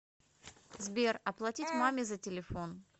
сбер оплатить маме за телефон